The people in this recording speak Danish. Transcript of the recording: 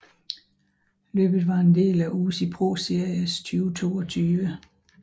Løbet var en del af UCI ProSeries 2022